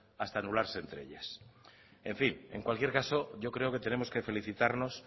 hasta anularse entre ellas en fin en cualquier caso yo creo que tenemos que felicitarnos